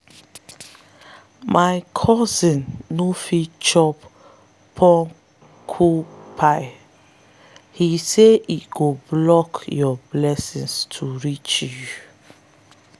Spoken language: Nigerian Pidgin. my cousin no fit chop porcupine - he say e go block your blessings to reach you.